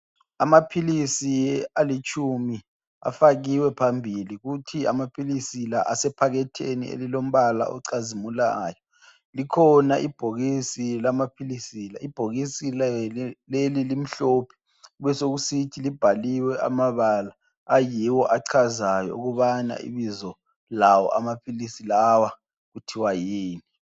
Amaphilisi alitshuma afakiwe phambili kuthi amaphilisi la esephaketheni elilombala olicazimulayo, likhona ibhokisi lamaphilisi la ibhokisi leli limhlophe besokusithi libhaliwe amabala ayiwo achazayo ukubana ibizo lawo amaphilisi lawa kuthwa yini.